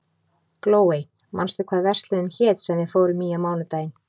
Glóey, manstu hvað verslunin hét sem við fórum í á mánudaginn?